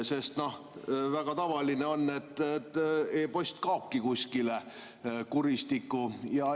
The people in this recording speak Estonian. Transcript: Sest väga tavaline on, et e-post kaobki kuskile kuristikku.